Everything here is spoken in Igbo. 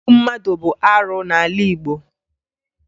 Igbu mmadụ bụ arụ n'ala Igbo